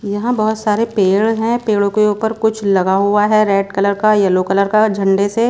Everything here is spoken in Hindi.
यहां बहोत सारे पेड़ हैं पेड़ों के ऊपर कुछ लगा हुआ है रेड कलर का येलो कलर का झंडा से--